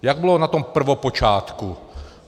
Jak bylo na tom prvopočátku?